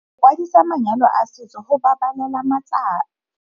Go kwadisa manyalo a setso go babalela malapa.